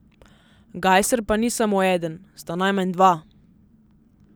Gajser pa ni samo eden, sta najmanj dva.